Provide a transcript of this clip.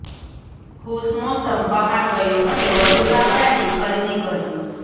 ખુશ મોસમ બહાર ગયો અને વધુ ચામડાની ખરીદી કરી